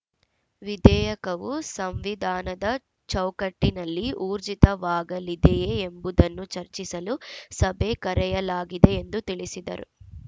ವಿಧೇಯಕವು ಸಂವಿಧಾನದ ಚೌಕಟ್ಟಿನಲ್ಲಿ ಊರ್ಜಿತವಾಗಲಿದೆಯೇ ಎಂಬುದನ್ನು ಚರ್ಚಿಸಲು ಸಭೆ ಕರೆಯಲಾಗಿದೆ ಎಂದು ತಿಳಿಸಿದರು